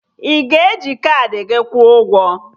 Ị ga-eji kaadị gị kwuo ụgwọ?